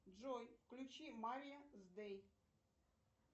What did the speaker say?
джой включи марьяс дэй